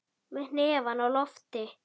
Með hnefann á lofti.